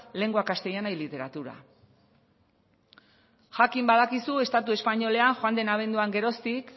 lengua castellana y literatura jakin badakizu estatu espainolean joan den abenduan geroztik